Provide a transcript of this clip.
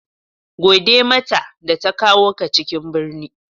Gode mata da ta kawo ka cikin birni.